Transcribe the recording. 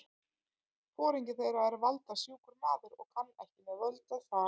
Foringi þeirra er valda- sjúkur maður og kann ekki með völd að fara.